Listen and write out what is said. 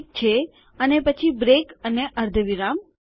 ઠીક છે અને પછી બ્રેક અને અર્ધવિરામ